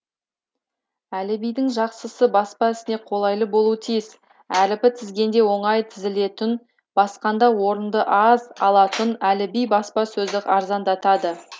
әліббидің жақсысы баспа ісіне қолайлы болу тиіс әріпі тізгенде оңай тізілетұн басқанда орынды аз алатұн әлібби баспа сөзді арзандатады